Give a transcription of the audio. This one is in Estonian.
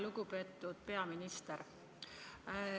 Lugupeetud peaminister!